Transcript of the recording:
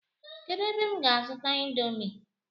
Kedu ebe m ga azuta indomi?